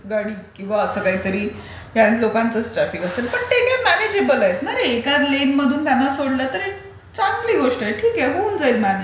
किंवा दूध गाडी किंवा असं काहीतरी व्यान लोकांचाच ट्राफिक असेल पण ते काय म्यानेजेबल आहेट ना ते. एका लेनमधून त्यांना सोडलं तर ते चांगली गोष्ट आहे, ठीक आहे. होऊन जाईल म्यानेज.